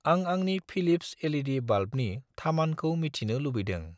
आं आंनि Philips LED. बाल्बनि थामानखौ मिथिनो लुबैदों